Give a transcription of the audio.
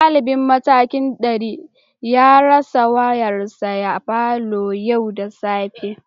Dalibin matakin dari ya rasa wayarsa a falon yau da safe